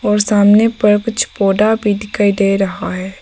और सामने पर कुछ पौधा भी दिखाई दे रहा है।